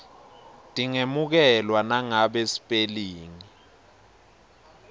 tingemukelwa nangabe sipelingi